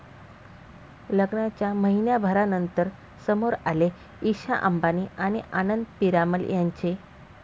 लग्नाच्या महिन्याभरानंतर समोर आले ईशा अंबानी आणि आनंद पीरामल यांचे